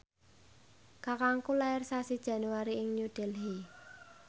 kakangku lair sasi Januari ing New Delhi